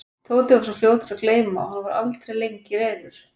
Tóti var svo fljótur að gleyma og hann var aldrei lengi reiður.